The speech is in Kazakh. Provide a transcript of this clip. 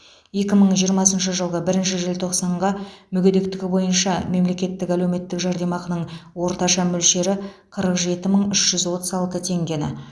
екі мың жиырмасыншы жылғы бірінші желтоқсанға мүгедектігі бойынша мемлекеттік әлеуметтік жәрдемақының орташа мөлшері қырық жеті мың үш жүз отыз алты теңгені